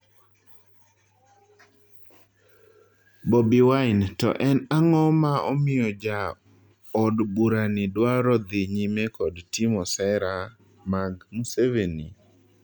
Boby wine:To en ang'o ma omiyo ja odburani dwaro dhii nyime kod timo sera mag Museveni?